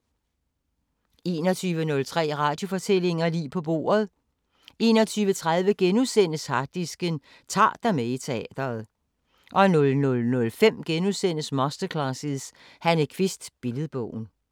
21:03: Radiofortællinger: Lig på bordet 21:30: Harddisken: Ta'r dig med i teatret * 00:05: Masterclasses – Hanne Kvist: Billedbogen *